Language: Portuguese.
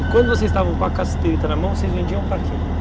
E quando vocês estavam com a cassiterita na mão, vocês vendiam para quem?